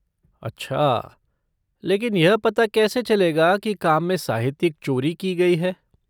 अच्छा! लेकिन यह पता कैसे चलेगा कि काम में साहित्यिक चोरी की गई है?